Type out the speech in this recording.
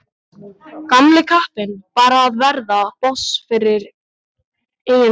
Gamli kappinn bara að verða boss yfir eigin búð.